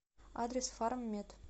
адрес фарммед